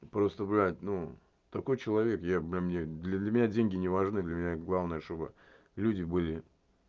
просто блядь ну такой человек я блин мне для меня деньги не важны для меня главное чтобы люди были